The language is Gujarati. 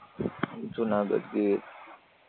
જૂનાગઢ ગીર